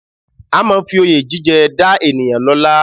A máa ń fi Oyè jíjẹ dá ènìyàn lọ́la